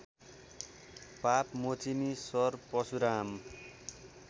पापमोचिनि सर परशुराम